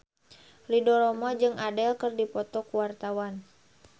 Ridho Roma jeung Adele keur dipoto ku wartawan